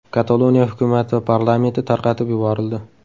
Kataloniya hukumati va parlamenti tarqatib yuborildi.